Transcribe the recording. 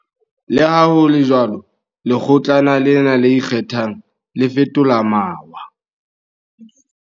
Leha ho le jwalo, Lekgo tlana lena le Ikgethang, le fetola mawa.